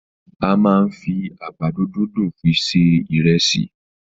A máa n fí àgbàdo dundun fi se ìresì.